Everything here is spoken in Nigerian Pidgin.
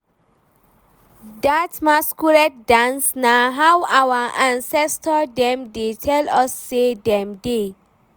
Dat masquerade dance na how our ancestor dem dey tell us sey dem dey.